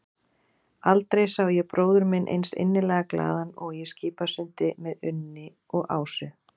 Aldrei sá ég bróður minn eins innilega glaðan og í Skipasundi með Unni og Ásu.